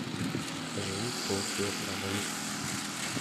закажи полкилограмма лука